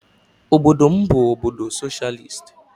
Obodo m bụ obodo soshịalist.